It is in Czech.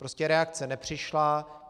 Prostě reakce nepřišla.